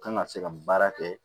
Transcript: Kan ka se ka baara kɛ